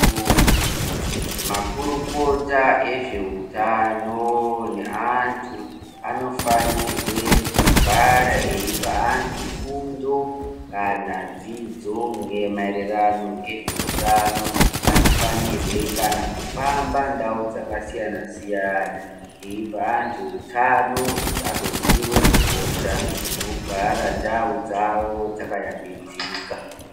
Makurukota vezveutano neantu anofanire kugara eipa antu fundo kana dzidzo maererano nezveutano. Anofanire kana kufamba ndau dzakasiyana siyana veipe antu utano kuti agoziya kukosha kwekugara ndau dzavo dzakayambidzika.